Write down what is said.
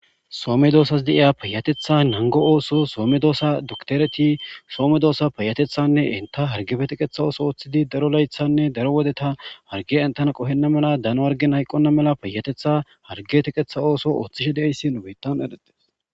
Soo medoossas deya peyatetha nango ooso soo medoosa duktereti soo medoossa peyatethanne inta hargepe tiqetha ooso ooththidi daro laythanne daro wodeta harge entana qohenna mela dano hargen hayqonna mela peyatetha harge tiqetha ooso ooththishe deeyssi nu beyttan eretes.